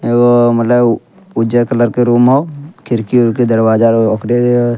एगो मतलब उज्जर कलर के रूम हअ खिड़की उरकी दरवाजा ओकरे --